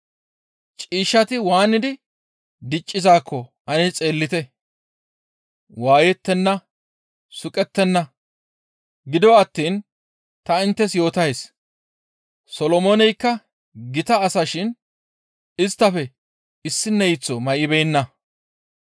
«Ciishshati waanidi diccizaakko ane xeellite; waayettenna; suqettenna; gido attiin ta inttes yootays; Solomooneykka gita asa shin isttafe issineyththo may7ibeenna.